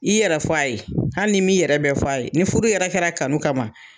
I yɛrɛ fɔ a ye, hali n'i m'i yɛrɛ fɔ a ye, ni furu yɛrɛ kɛra kanu kama.